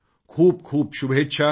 खूपखूप शुभेच्छा